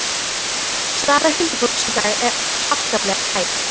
Staða huldufólks í dag er afskaplega tæp.